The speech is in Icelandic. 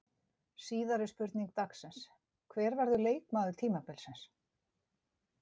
Síðari spurning dagsins: Hver verður leikmaður tímabilsins?